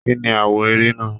Kínní àwọ̀ ère náà?